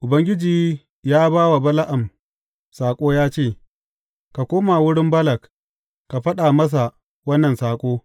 Ubangiji ya ba wa Bala’am saƙo ya ce, Ka koma wurin Balak, ka faɗa masa wannan saƙo.